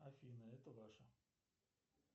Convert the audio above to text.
афина это ваше